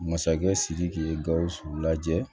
Masakɛ sidiki ye gawusu lajɛ